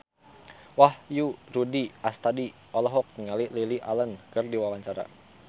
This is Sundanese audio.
Wahyu Rudi Astadi olohok ningali Lily Allen keur diwawancara